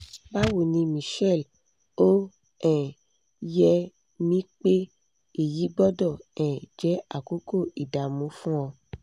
báwo ni michelle ó um yé mi pé èyí gbọ́dọ̀ um jẹ́ àkókò ìdààmú fún ọ